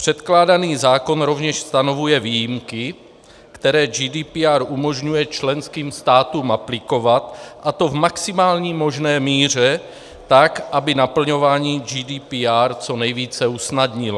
Předkládaný zákon rovněž stanovuje výjimky, které GDPR umožňuje členským státům aplikovat, a to v maximální možné míře tak, aby naplňování GDPR co nejvíce usnadnilo.